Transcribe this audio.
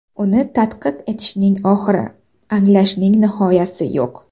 Uni tadqiq etishning oxiri, anglashning nihoyasi yo‘q.